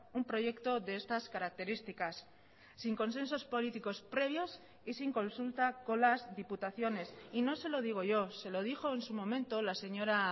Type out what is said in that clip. un proyecto de estas características sin consensos políticos previos y sin consulta con las diputaciones y no se lo digo yo se lo dijo en su momento la señora